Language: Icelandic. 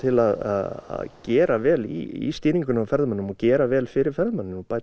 að gera vel í stýringunni á ferðamönnum og gera vel fyrir ferðamennina og bæta